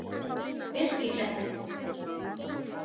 Birkikletti